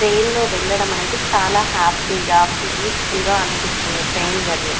ట్రైన్లో వెళ్లడం అనేది చాలా హ్యాపీ గా పీస్ ఫుల్ గా అనిపిస్తుంది ట్రైన్ జర్నీ .